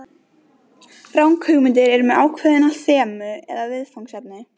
Ranghugmyndir eru með ákveðin þemu eða viðfangsefni.